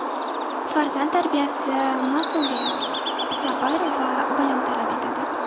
Farzand tarbiyasi mas’uliyat, sabr va bilim talab etadi.